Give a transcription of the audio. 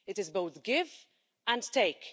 It is both give and take.